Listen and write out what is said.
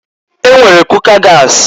E nwere kuka gasị.